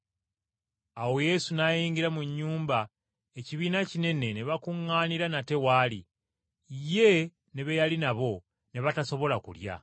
Awo Yesu n’ayingira mu nnyumba ekibiina kinene ne bakuŋŋaanira nate w’ali, ye ne be yali nabo ne batasobola kulya.